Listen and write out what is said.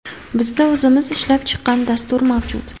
Bizda o‘zimiz ishlab chiqqan dastur mavjud.